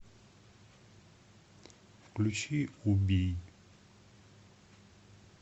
включи убий